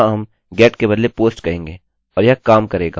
यहाँ कुछ भी नहीं है वहाँ प्रश्न चिन्ह नहीं है